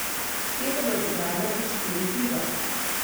Te bodo igrale v štirih ligah.